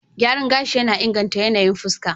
Gyaran gashi yana inganta yanayin fuska.